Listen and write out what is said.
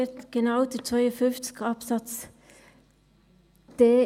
Genau Artikel 52 Absatz 4